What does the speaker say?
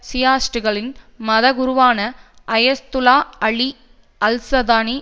ஷியைட்டுக்களின் மதகுருவான Ayatollah Ali al Sistani